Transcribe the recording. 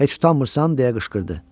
Heç utanmırsan, - deyə qışqırdı.